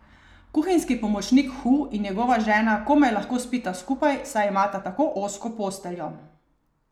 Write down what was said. Kuhinjski pomočnik Hu in njegova žena komaj lahko spita skupaj, saj imata tako ozko posteljo.